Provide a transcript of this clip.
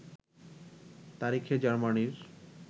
তারিখে জার্মানীর